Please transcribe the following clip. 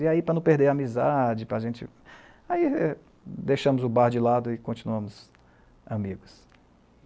E aí, para não perder a amizade, para a gente... Aí deixamos o bar de lado e continuamos amigos.